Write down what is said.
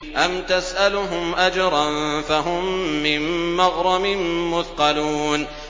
أَمْ تَسْأَلُهُمْ أَجْرًا فَهُم مِّن مَّغْرَمٍ مُّثْقَلُونَ